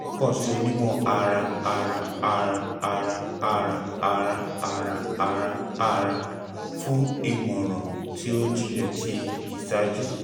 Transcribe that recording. jọwọ kan si onimọ-ara-ara-ara-ara-ara-ara-ara-ara-ara fun imọran ti o jinlẹ ti iṣaaju